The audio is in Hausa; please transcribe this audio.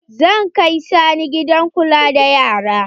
Zan kai Sani gidan kula da yara.